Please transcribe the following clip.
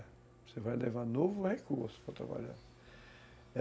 Você vai levar novo recurso para trabalhar.